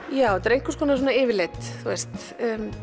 ég þetta er einhvers konar svona yfirlit þú veist